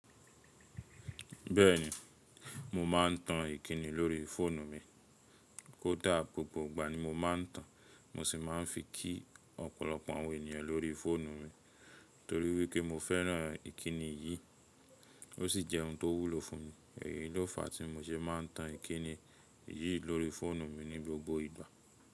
Bẹ́ẹ̀ni, mo ma n tan Ìkíni lórí fóònù mi. Kódà gbogbo ìgbà ni mo má n tan, mo sì má n fi kí ọ̀pọ̀lọpọ̀ àwọn ènìyàn lórí fóònù mi torí wípé mo fẹ́ràn Ìkíni yìí ó sì jẹ́ ohun tó wúlò fún mi. Èyí ló fàá tí mo ṣe má n tan Ìkíni yìí lórí fóònù mi ní gbogbo ìgbà.